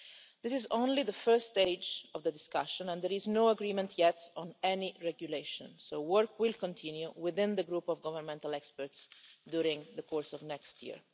This is only the first stage of the discussion and there is no agreement yet on any regulation, so work will continue within the Group of Governmental Experts during the course of next year.